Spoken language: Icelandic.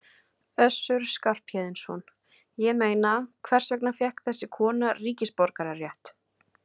Össur Skarphéðinsson: Ég meina, hvers vegna fékk þessi kona ríkisborgararétt?